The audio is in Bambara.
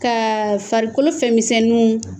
Ka farikolo fɛnmisɛnninw.